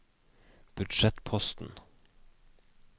budsjettposten